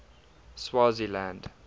swaziland